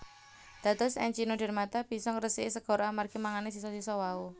Dados Echinodermata bisa ngresiki segara amargi mangani sisa sisa wau